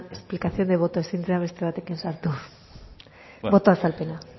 explicación de voto ezin zera beste batekin sartu boto azalpena